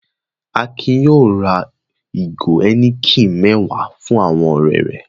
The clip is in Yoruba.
Akin yóò ra ìgò Heineken mẹ́wàá fún àwọn ọ̀rẹ́ rẹ̀.